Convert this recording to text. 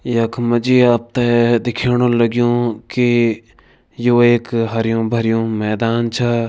यख मजी आपते दिखयोणु लगियु की यो एक हरियो भरियो मैदान छा।